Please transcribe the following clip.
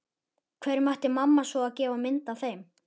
Hverjum ætti mamma svo sem að gefa mynd af þeim?